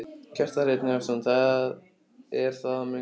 Kjartan Hreinn Njálsson: Það er það mun gerast?